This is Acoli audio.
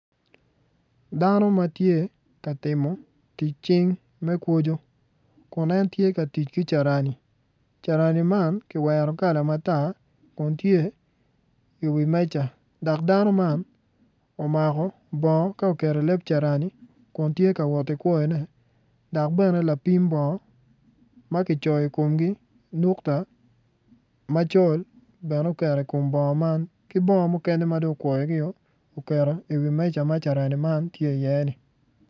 Dano ma tye ka timo tic cing me kwoco kun en tye ka tic ki carani carani man kiwero kala matar kun tye i wi meja dok dano man omako bongo ka oketo i leb carani kun tye ka wot ki kwoyone dok bene lapim bongo ma kicoyoi komgi nukta macol bene oketo i kom bongo man ki bongo mukene ma dong okwoyogi woko oketo i wi meja ma carani tye i ye ni.